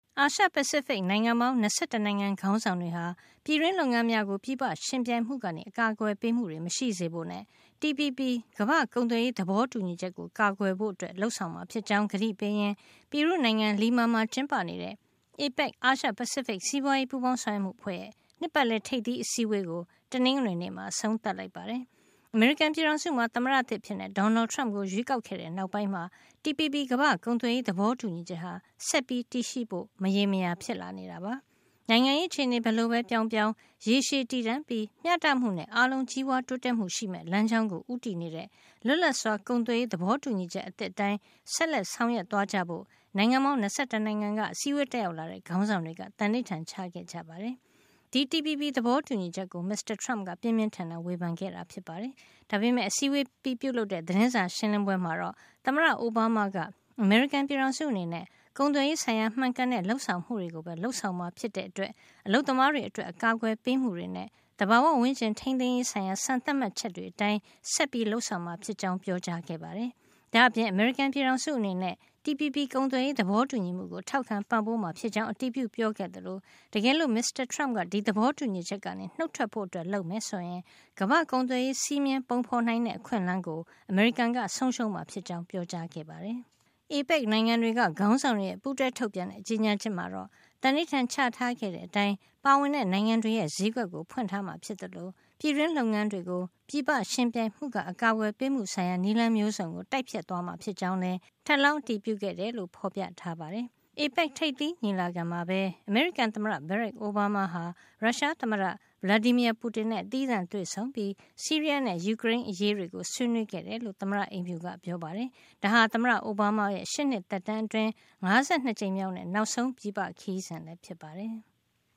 အာရှပစိဖိတ် နိုင်ငံပေါင်း ၂၁ နိုင်ငံ ခေါင်းဆောင်တွေက ပြည်တွင်းလုပ်ငန်းများကို ပြည်ပယှဉ်ပြိုင်မှုမှ အကာကွယ်ပေးမှု မရှိစေဖို့နဲ့ TPP ကမ္ဘာ့ကုန်သွယ်ရေး သဘောတူညီချက်ကို ကာကွယ်ဖို့ လုပ်ဆောင်မှာ ဖြစ်ကြောင်း ကတိပေးရင်း ပီရူးနိုင်ငံ Lima မှာ ကျင်းပနေတဲ့ APEC အာရှပစိဖိတ် စီးပွါးရေးပူးပေါင်းဆောင်ရွက်မှုအဖွဲ့ရဲ့ နှစ်ပါတ်လည် ထိပ်သီး အစည်းအဝေးကို တနင်္ဂနွေနေ့မှာ အဆုံးသတ် လိုက်ပါတယ်။ အမေရိကန်ပြည်ထောင်စုမှာ သမ္မတသစ်အဖြစ် Donald Trump ကို ရွေးကောက်ခဲ့တဲ့နောက်ပိုင်းမှာ TPP ကမ္ဘာ့ကုန်သွယ်ရေး သဘောတူညီချက်ဟာ ဆက်ပြီးတည်ရှိဖို့ မရေမရာ ဖြစ်လာနေတာပါ။ နိုင်ငံရေးအခြေနေ ဘယ်လိုပဲ ပြောင်းပြောင်း ရေရှည်တည်တံ့ပြီး မျှတမှုနဲ့ အားလုံး ကြီးပွါးတိုးတက်မှု ရှိမယ့် လမ်းကြောင်းကို ဦးတည်နေတဲ့ လွတ်လပ်စွာကုန်သွယ်ရေး သဘောတူညီချက် အသစ်အတိုင်း ဆက်လက်ဆောင်ရွက်သွားကြဖို့ နိုင်ငံပေါင်း ၂၁ နိုင်ငံက အစည်းဝေး တက်ရောက် လာတဲ့ ခေါင်းဆောင်တွေက သံဓိဌာန်ချခဲ့ကြပါတယ်။ ဒီ TPP သဘောတူညီချက်ကို မစ္စတာ Trump က ပြင်းပြင်းထန်ထန် ဝေဖန်ခဲ့တာဖြစ်ပါတယ်။ ဒါပေမယ့် အစည်းဝေး အပြီးပြုလုပ်တဲ့ သတင်းစာ ရှင်းလင်းပွဲမှာတော့ သမ္မတ အိုဘားမားက အမေရိကန်ပြည်ထောင်စုအနေနဲ့ ကုန်သွယ်ရေးဆိုင်ရာ မှန်ကန်တဲ့ လုပ်ဆောင်မှုတွေကိုပဲ လုပ်ဆောင်မှာ ဖြစ်တဲ့အတွက် အလုပ်သမားတွေအတွက် အကာကွယ်ပေးမှုတွေနဲ့ သဘာဝဝန်းကျင် ထိမ်းသိမ်းရေး ဆိုင်ရာ စံသတ်မှတ်ချက်တွေအတိုင်း ဆက်လက် လုပ်ဆောင်မှာဖြစ်ကြောင်း ပြောကြားခဲ့ပါတယ်။ ဒါ့အပြင် အမေရိကန်ပြည်ထောင်စု အနေနဲ့ TPP ကုန်သွယ်ရေး သဘောတူညီမှုကို ထောက်ခံ ပံ့ပိုးမှာ ဖြစ်ကြောင်း အတည်ပြုပြောခဲ့သလို တကယ်လို့ မစ္စတာ Trump က ဒီသဘောတူညီချက်ကနေ နှုတ်ထွက်ဖို့ လုပ်မယ်ဆိုရင် ကမ္ဘာ့ကုန်သွယ်ရေး စည်းမျဉ်းပုံဖေါ်နိုင်တဲ့ အခွင့်အလန်းကို အမေရိကန်က ဆုံးရှုံးမှာ ဖြစ်ကြောင်း ပြောကြားခဲ့ပါတယ်။ APEC နိုင်ငံတွေက ခေါင်းဆောင်တွေရဲ့ ပူးတွဲထုတ်ပြန်တဲ့ ကြေညာချက်မှာတော့ သံဓိဌာန်ချထားခဲ့တဲ့အတိုင်း ပါဝင်တဲ့ နိုင်ငံတွေရဲ့ ဈေးကွက်တွေကို ဖွင့်ထားမှာဖြစ်သလို ပြည်တွင်းလုပ်ငန်းများကို ပြည်ပယှဉ်ပြိုင်မှုမှ အကာကွယ်ပေးမှုဆိုင်ရာ နည်းလမ်းမျိုးစုံကို တိုက်ဖျက်သွားမှာ ဖြစ်ကြောင်း ထပ်လောင်း အတည်ပြုခဲ့တယ်လို့ ဖေါ်ပြထားပါတယ်။ APEC ထိပ်သီးညီလာခံမှာပဲ အမေရိကန် သမ္မတ Barack Obama ဟာ ရုရှားသမ္မတ Vladimir Putin နဲ့ သီးသန့်တွေ့ဆုံပြီး ဆီးရီးယားနဲ့ ယူကရိန်း အရေးတွေကို ဆွေးနွေးခဲ့တယ်လို့ သမ္မတအိမ်ဖြူက ပြောပါတယ်။ ဒါဟာ သမ္မတ အိုဘားမားရဲ့ ရှစ်နှစ် သက်တမ်းအတွင်း ၅၂ ကြိမ်မြောက်နဲ့ နောက်ဆုံး ပြည်ပ ခရီးစဉ်လည်း ဖြစ်ပါတယ်။